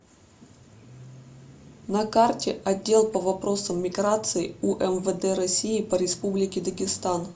на карте отдел по вопросам миграции умвд россии по республике дагестан